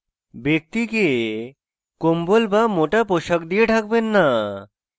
ব্যক্তিকে কম্বল বা মোটা পোশাক দিয়ে ঢাকবেন না